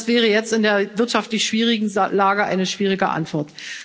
Das wäre jetzt in der wirtschaftlich schwierigen Lage eine schwierige Antwort.